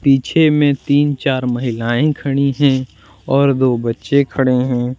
पीछे में तीन चार महिलाएं खड़ी हैं और दो बच्चे खड़े हैं।